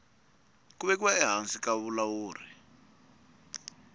ku vekiwa ehansi ka vulawuri